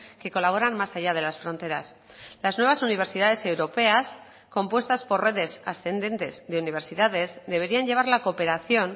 que colaboran más allá de las fronteras las nuevas universidades europeas compuestas por redes ascendentes de universidades deberían llevar la cooperación